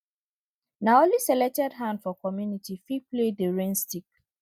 na only selected hand for community fit play di rain stick